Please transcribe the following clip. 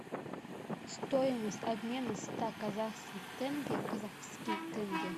стоимость обмена ста казахских тенге в казахские тенге